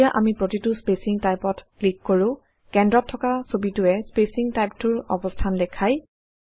যেতিয়া আমি প্ৰতিটো স্পেচিং টাইপত ক্লিক কৰো কেন্দ্ৰত থকা ছবিটোৱে স্পেচিং টাইপটোৰ অৱস্থান দেখায়